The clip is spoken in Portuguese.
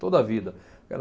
Toda a vida. Era